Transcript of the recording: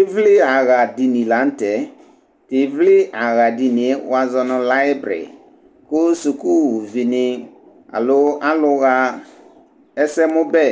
ivli axa dini la nu tɛ, tu ivli axa dinie wʋa zɔ nu laibri ku Suku vi ni alo alu ɣa ɛsɛmu bɛ